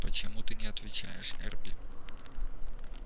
почему ты не отвечаешь эрби